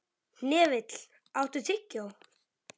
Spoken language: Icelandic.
Hnefill, áttu tyggjó?